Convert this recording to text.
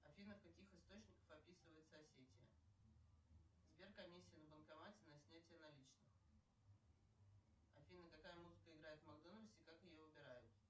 афина в каких источниках описывается осетия сбер комиссия на банкомате на снятие наличных афина какая музыка играет в макдональдсе и как ее выбирают